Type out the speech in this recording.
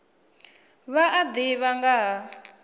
vha a ḓivha nga ha